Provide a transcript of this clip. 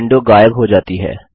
window गायब हो जाता है